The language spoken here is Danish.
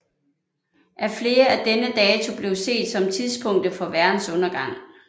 Af flere er denne dato blevet set som tidspunktet for verdens undergang